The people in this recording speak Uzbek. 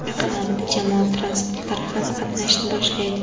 Yaqin orada jamoat transportlari ham qatnashni boshlaydi.